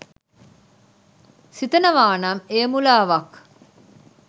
සිතනවානම් එය මුලාවක්